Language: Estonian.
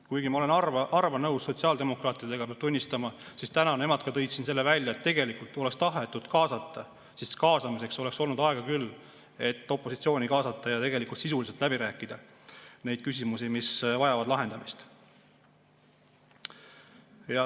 Kuigi ma olen harva nõus sotsiaaldemokraatidega, peab tunnistama, et täna ka nemad tõid siin selle välja, et kui oleks tahetud kaasata, siis oleks olnud aega küll, et opositsiooni kaasata ja tegelikult sisuliselt läbi rääkida neid küsimusi, mis vajavad lahendamist.